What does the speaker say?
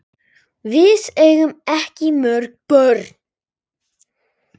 Við eigum ekki mörg börn.